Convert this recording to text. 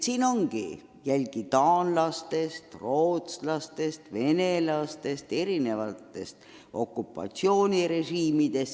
Narvas ongi jälgi taanlastest, rootslastest, venelastest, erinevatest okupatsioonirežiimidest.